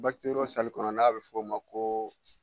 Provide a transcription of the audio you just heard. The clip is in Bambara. kɔnɔ n'a bi f'o ma ko